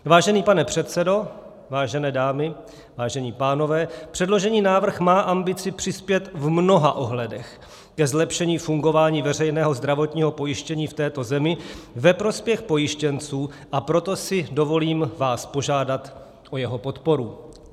Vážený pane předsedo, vážené dámy, vážení pánové, předložený návrh má ambici přispět v mnoha ohledech ke zlepšení fungování veřejného zdravotního pojištění v této zemi ve prospěch pojištěnců, a proto si dovolím vás požádat o jeho podporu.